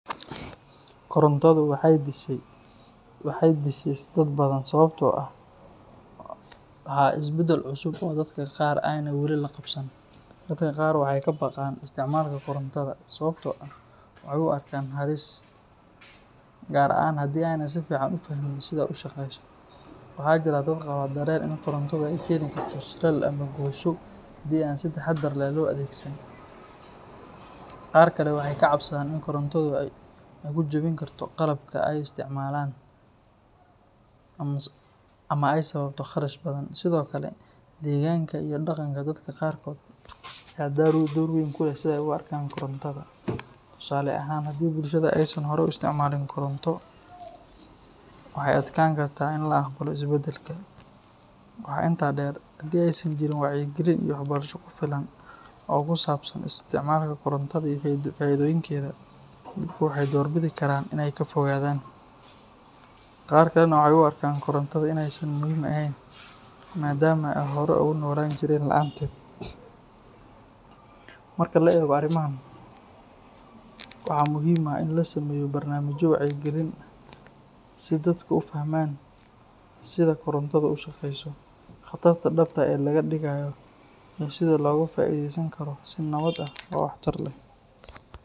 Korontadu waxay disheys dad badan sababtoo ah waa isbeddel cusub oo dadka qaar aanay weli la qabsan. Dadka qaar waxay ka baqaan isticmaalka korontada sababtoo ah waxay u arkaan halis, gaar ahaan haddii aanay si fiican u fahmin sida ay u shaqeyso. Waxaa jira dad qaba dareen ah in korontadu ay keeni karto shilal ama gubasho haddii aan si taxaddar leh loo adeegsan. Qaar kale waxay ka cabsadaan in korontadu ay ku jabin karto qalabka ay isticmaalayaan ama ay sababto kharash badan. Sidoo kale, deegaanka iyo dhaqanka dadka qaarkood ayaa door weyn ku leh sida ay u arkaan korontada. Tusaale ahaan, haddii bulshada aysan horay u isticmaalin koronto, waxay adkaan kartaa in la aqbalo isbeddelka. Waxaa intaa dheer, haddii aysan jirin wacyigelin iyo waxbarasho ku filan oo ku saabsan isticmaalka korontada iyo faa'iidooyinkeeda, dadku waxay doorbidi karaan inay ka fogaadaan. Qaar kalena waxay u arkaan korontada in aysan muhiim ahayn maadaama ay horay ugu noolaan jireen la’aanteed. Marka la eego arrimahan, waxaa muhiim ah in la sameeyo barnaamijyo wacyigelin ah si dadku u fahmaan sida korontadu u shaqeyso, khatarta dhabta ah ee laga digayo iyo sida loogu faa’iideysan karo si nabad ah oo waxtar leh.